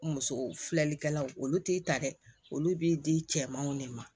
Muso filɛlikɛlaw olu t'i ta kɛ olu b'i di cɛmanw de ma